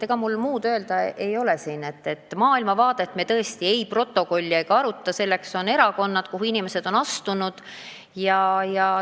Ega mul teile muud öelda ei ole, kui maailmavaadet me tõesti komisjoni protokolli ei pane ega aruta, selleks on erakonnad, kuhu inimesed on astunud.